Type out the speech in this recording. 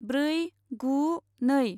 ब्रै गु नै